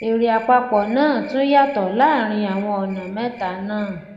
èrè àpapọ náà tún yàtọ láàárín àwọn ọnà mẹta náà